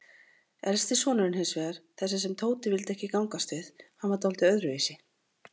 Elsti sonurinn hinsvegar, þessi sem Tóti vildi ekki gangast við, hann var dáldið öðruvísi.